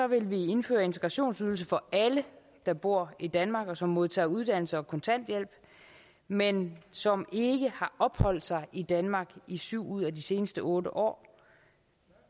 vil vi indføre integrationsydelse for alle der bor i danmark og som modtager uddannelse og kontanthjælp men som ikke har opholdt sig i danmark i syv ud af de seneste otte år